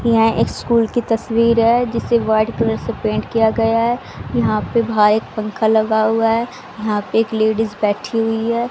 यहां एक स्कूल की तस्वीर है जिसे व्हाइट कलर से पेंट किया गया है यहां पे व्हाइट पंखा लगा हुआ है यहां पे एक लेडीज बैठी हुई है।